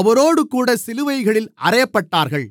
அவரோடுகூட சிலுவைகளில் அறையப்பட்டார்கள்